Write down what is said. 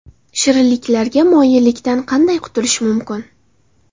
Shirinliklarga moyillikdan qanday qutulish mumkin?.